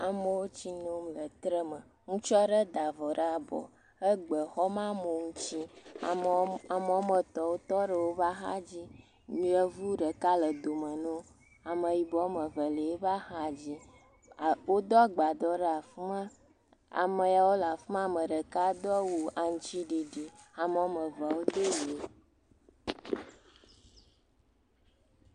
Amewo tsi nom le tre me, ŋutsu aɖe da avɔ ɖe abɔ, egbe xɔm ɖe amewo si, ame woame etɔ̃, wotɔ ɖe axadzi, yevu ɖeka le dome ne wo, ameyibɔ woame eve le woƒe axadzi, woɖo agbadɔ ɖe le afi ma, ame yawo le afi ma, ame ɖeka do awu aŋutiɖiɖi, ame woame evea wodo ʋe.